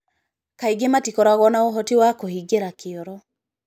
Kaingĩ matikoragwo na ũhoti wa kũhĩngĩra kĩoro.